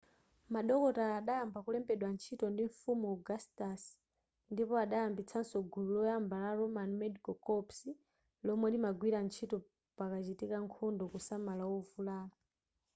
madokotala adayamba kulembedwa ntchito ndi mfumu augustus ndipo adayambitsaso gulu loyamba la roman medical corps lomwe limagwira ntchito pakachitika nkhondo kusamala ovulala